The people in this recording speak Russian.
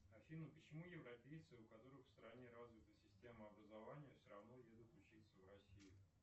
афина почему европейцы у которых в стране развита система образования все равно едут учиться в россию